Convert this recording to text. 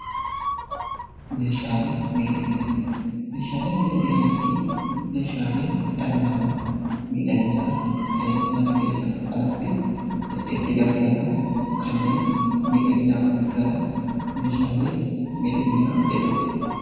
Meeshaalee miidhaginaa Meeshaalee miidhaginaa jechuun Meeshaalee dhalli namaa miidhaginaaf mana keessaa fi alatti itti gargaaramu, kanneen miidhaginaaf itti gargaaramnu Meeshaalee miidhaginaa jedhamu.